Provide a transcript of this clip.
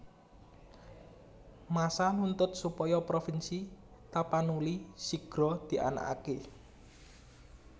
Massa nuntut supaya provinsi Tapanuli sigra dianakaké